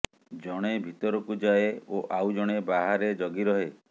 ଜଣେ ଭିତରକୁ ଯାଏ ଓ ଆଉ ଜଣେ ବାହାରେ ଜଗି ରହେ